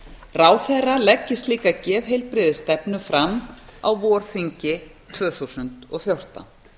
ráðherra leggi slíka geðheilbrigðisstefnu fram á vorþingi tvö þúsund og fjórtán